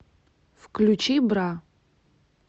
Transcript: включи бра